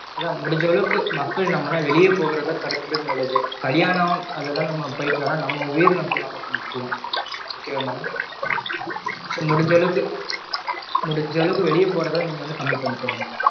அதா முடிஞ்ச அளவுக்கு மக்கள் நம்மலாம் வெளிய போறத தடுக்கறதுக்கு நல்லது. கலியாணம் அதெல்லாம் நம்ம பஒயிட்டோம்னா நம்ம வீடு நம்க்கு முக்கியம். okay வா madam so முடிஞ்ச அளவுக்கு முடிஞ்ச அளவுக்கு வெளிய போறத னீங்க வந்து கம்மி பண்ணிக்கோங்க